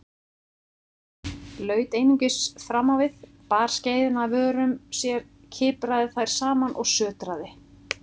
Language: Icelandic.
Laut einungis framávið, bar skeiðina að vörum sér, kipraði þær saman og sötraði.